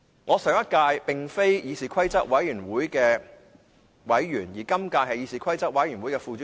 我上屆並非議事規則委員會的委員，而今屆則是副主席。